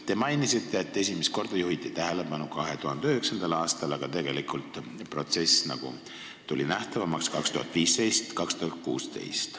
Te mainisite, et esimest korda juhiti sellele tähelepanu 2009. aastal, aga tegelikult sai protsess nähtavamaks 2015–2016.